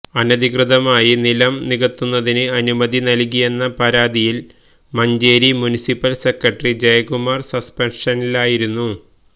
അനധികൃതമായി നിലം നികത്തുന്നതിന് അനുമതി നൽകിയെന്ന പരാതിയിൽ മഞ്ചേരി മുനിസിപ്പൽ സെക്രട്ടറി ജയകുമാർ സസ്പെൻഷനിലായിരുന്നു